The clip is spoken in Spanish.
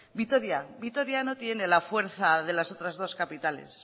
vitoria vitoria no tiene la fuerza de las otras dos capitales